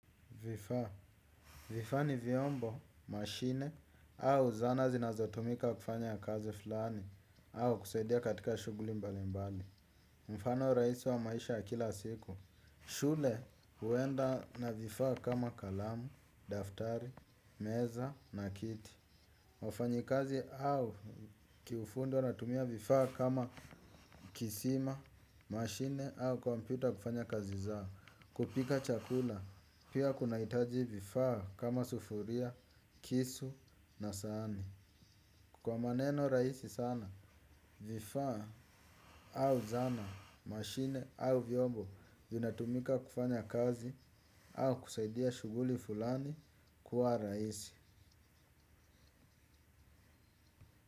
Vifaa. Vifaa ni vyombo, mashine, au zana zinazotumika kufanya ya kazi fulani, au kusaidia katika shughuli mbali mbali. Mfano rahisi wa maisha ya kila siku. Shule huenda na vifaa kama kalamu, daftari, meza, na kiti. Wafanyikazi au kiufundo natumia vifaa kama kisima, mashine, au kompyuta kufanya kazi zao. Kupika chakula, pia kuna hitaji vifaa kama sufuria, kisu na sahani. Kwa maneno rahisi sana, vifaa au zana, mashine au vyombo vinatumika kufanya kazi au kusaidia shughuli fulani kuwa rahisi.